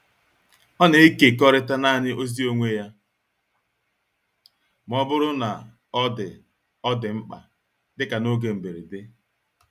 Ó na-ekekọrịta naanị ozi onwe ya ma ọ bụrụ na ọ dị ọ dị mkpa, dịka n’oge mberede.